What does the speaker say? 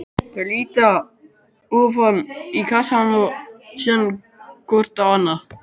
Þau líta ofan í kassann og síðan hvort á annað.